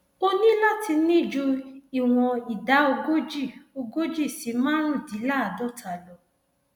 o ní láti ní ju ìwọn ìdá ogójì ogójì si márùndínláàádọta lọ